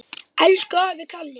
Elsku afi Kalli.